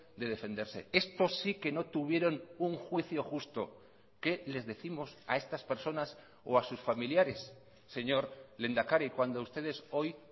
de defenderse estos sí que no tuvieron un juicio justo qué les décimos a estas personas o a sus familiares señor lehendakari cuando ustedes hoy